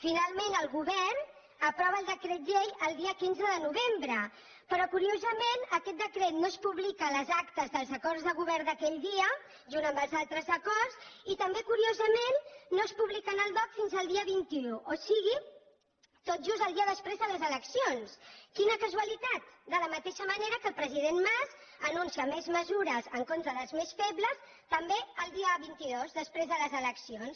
finalment el govern aprova el decret llei el dia quinze de novembre però curiosament aquest decret no es publica a les actes dels acords de govern d’aquell dia junt amb els altres acords i també curiosament no es publica en el dogc fins al dia vint un o sigui tot just el dia després de les eleccions quina casualitat de la mateixa manera que el president mas anuncia més mesures en contra dels més febles també el dia vint dos després de les eleccions